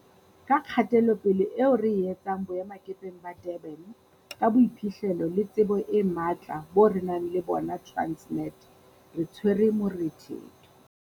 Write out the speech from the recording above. Ka kgatelopele eo re e etsang boemakepeng ba Durban, ka boiphihlelo le tsebo e matla bo re nang le bona Transnet, re tshwere morethetho.